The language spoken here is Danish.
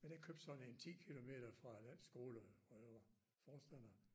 Men jeg købte sådan en 10 kilometer fra den skole hvor jeg var forstander